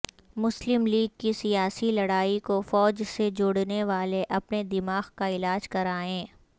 مسلم لیگ کی سیاسی لڑائی کوفوج سے جوڑنےو الے اپنے دماغ کاعلاج کرائیں